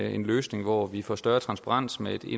en løsning hvor vi får større transparens med et